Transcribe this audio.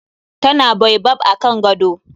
Ta na baobab akan gado.